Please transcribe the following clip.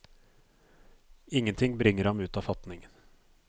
Ingenting bringer ham ut av fatning.